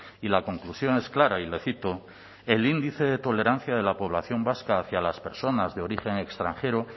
y la conclusión es clara y le cito el índice de tolerancia de la población vasca hacia las personas de origen extranjero